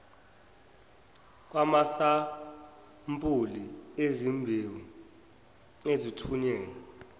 kwamasampuli ezimbewu ezithunyelwa